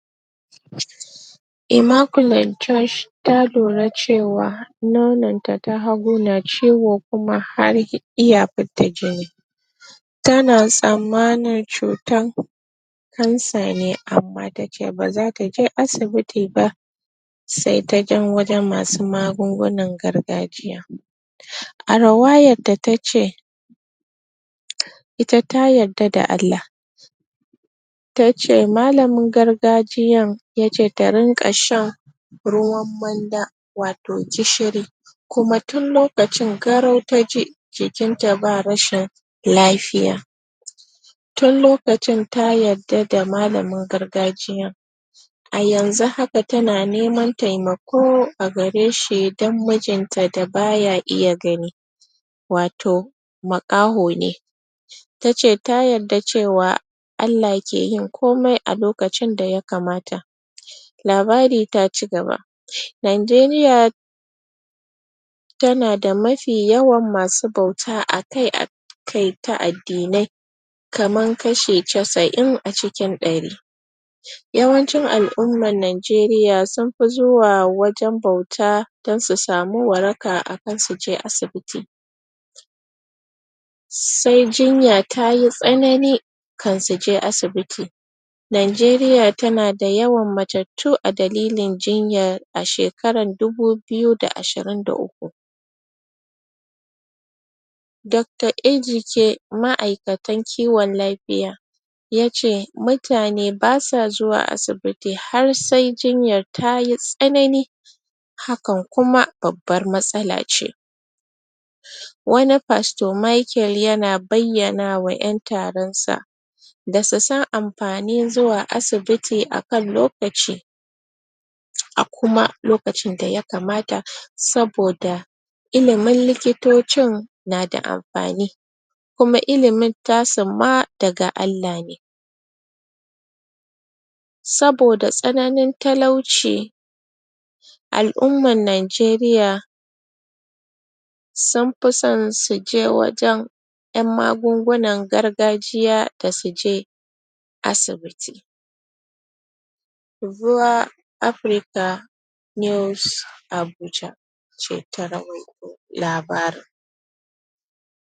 um Immaculet Gorge ta lura cewa nonanta na hagu na ciwo kuma har iya fidda jini tana tsammanin cutar cancer ne amma tace bazataje asibici ba se taje wajen masu magungunan gargajiya um a ruwayar da tace um ita ta yarda da Allah tace malamin gargajiyan yace ta rinqa shan ruwan manda wato gishiri kuma tun lokacin garau ta ji jikin ta ba rashin lafiya tun lokacin ta yarda da malamin gargajiyan a yanzu haka tana neman temako ko a gareshi don mijin ta da baya iya gani wato makaho ne tace ta yarda cewa Allah ke yin komai a lokacin daya kamata labari ta cigaba nageriya tana da mafi yawan masu bauta akai akai ta addinai kamar kashi casa'in cikin dari um yawancin al-ummar nigeriya sun fi zuwa wujen bauta don su samu waraka akan suje aji sai jinya tayi tsanani kan suje asibiti nageriya tana da yawan matattu a dalilin jinyan a shekar dubu biyu da ashirin da uku Dr Ejike ma'aikantan kiyon lafiya yace muta ne basa zuwa asibiti har se jinyan tayi tsanani hakan kuma babbar matsala ce um wani pastor Micheal yana bayyana ma yan taron sa da su san afanin zuwa asubiti a kan lokaci a kuma lokacin daya kamata saboda ilimin likitocin na da amfani kuma ilin tasun ma daga Allah ne saboda tsananin talauci al-ummar nageriya sunfi son suje wajen yan magungunan gargajiya da suje asibiti bua africa news abuja ce ta rawaito labarin